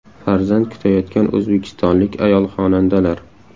Farzand kutayotgan o‘zbekistonlik ayol xonandalar .